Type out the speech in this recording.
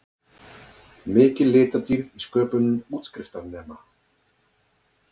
Mikil litadýrð í sköpun útskriftarnema